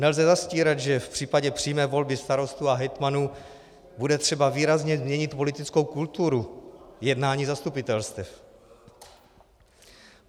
Nelze zastírat, že v případě přímé volby starostů a hejtmanů bude třeba výrazně změnit politickou kulturu jednání zastupitelstev.